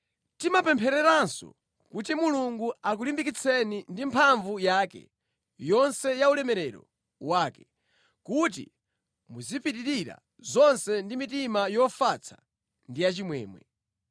Timapempheranso kuti Mulungu akulimbikitseni ndi mphamvu yake yonse ya ulemerero wake, kuti muzipirira zonse ndi mitima yofatsa ndi ya chimwemwe